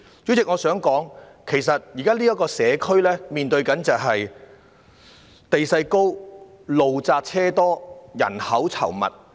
主席，我想說，其實這個社區現時正面對地勢高、路窄車多、人口稠密的問題。